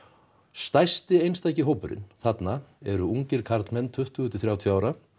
stærsti einstaki hópurinn þarna eru ungir karlmenn tuttugu til þrjátíu ára